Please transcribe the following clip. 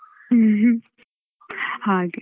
ಹ್ಮ್. ಹಾಗೆ